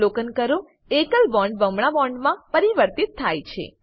અવલોકન કરો એકલ બોન્ડ બમણા બોન્ડમાં પરિવર્તિત થાય છે